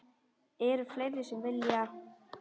Eru fleiri sem vilja?